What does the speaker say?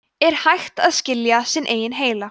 er hægt að skilja sinn eigin heila